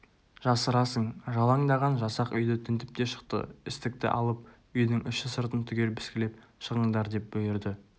жасырасың жалаңдаған жасақ үйді тінтіп те шықты істікті алып үйдің іші-сыртын түгел піскілеп шығыңдар деп бұйырды